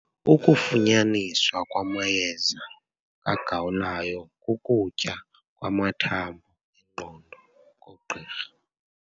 Ukufunyaniswa kwamayeza kagawulayo kukutya kwamathambo engqondo koogqirha.